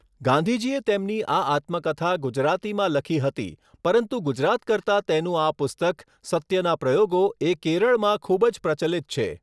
ગાંધીજીએ તેમની આ આત્મકથા ગુજરાતીમાં લખી હતી પરંતુ ગુજરાત કરતાં તેનું આ પુસ્તક સત્યના પ્રયોગો એ કેરળમાં ખૃૂબ જ પ્રચલિત છે